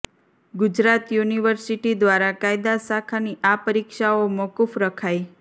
Gujarat university દ્વારા કાયદા શાખાની આ પરીક્ષાઓ મોકૂફ રખાઇ